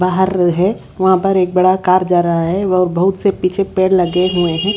बाहर है वहां पर एक बड़ा कार जा रहा है और बहुत से पीछे पेड़ लगे हुए है--